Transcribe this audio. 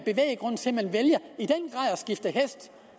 skifte hest